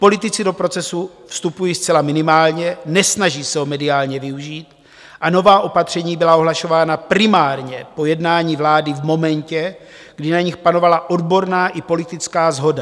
Politici do procesu vstupují zcela minimálně, nesnaží se ho mediálně využít, a nová opatření byla ohlašována primárně po jednání vlády v momentě, kdy na nich panovala odborná i politická shoda.